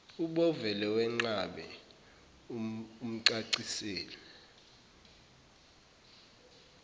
ubovele wenqabe umcacisele